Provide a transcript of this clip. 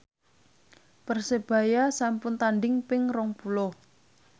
Persebaya sampun tandhing ping rong puluh